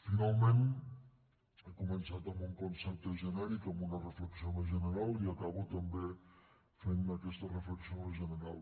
finalment he començat amb un concepte genèric amb una reflexió més general i acabo també fent aquesta reflexió més general